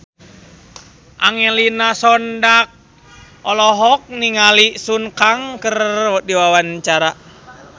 Angelina Sondakh olohok ningali Sun Kang keur diwawancara